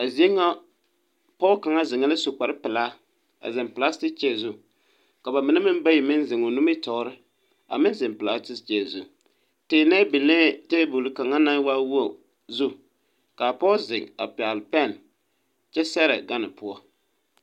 A zie ŋa pɔge kaŋa zeŋɛɛ la su kparpelaa a zeŋ pelasete kyɛɛ zu.ka ba mine meŋ bayi meŋ zeŋ o nimitɔɔre, a meŋ zeŋ pelasete kyɛɛ zu. Teennɛɛ teebole kaŋa naŋ waa wogi zu, kaa pɔge zeŋ a pɛgele pɛn kyɛ sɛgerɛ gane poɔ.